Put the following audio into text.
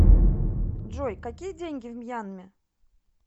джой какие деньги в мьянме